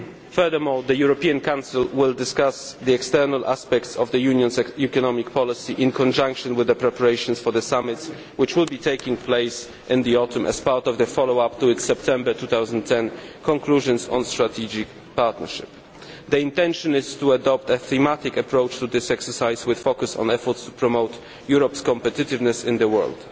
Furthermore, the European Council will discuss the external aspects of the Union's economic policy in conjunction with the preparations for the summits which will be taking place in the autumn as part of the follow up to its September 2010 conclusions on strategic partnership. The intention is to adopt a thematic approach to this exercise with a focus on efforts to promote Europe's competitiveness in the world.